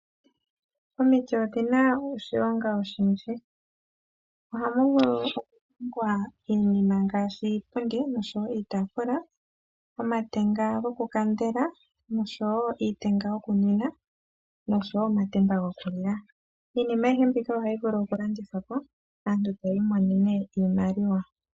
Omiti odhina omasimano ogendji ngaashi ohamu zi iihongomwa ngaashi iipundi, iitaafula , omatenga gokukandelwa, iitenga yokunwina, omatemba gokulila nayilwe oyindji. Iihongomwa yoludhi ndyoka ohayi vulu okushingithwa opo aantu yiimonenemo iiyemo.